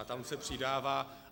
A tam se přidává.